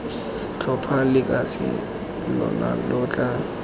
tlhopha lekase lona lo tla